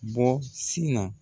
Bɔ sin na.